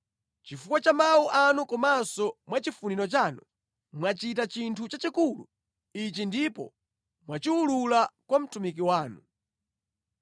Chifukwa cha mawu anu komanso mwa chifuniro chanu, mwachita chinthu chachikulu ichi ndipo mwachiwulula kwa mtumiki wanu.